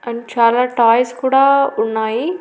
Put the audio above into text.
And చాలా toys కూడా ఉన్నాయి.